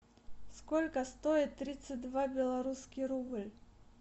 сколько стоит тридцать два белорусский рубль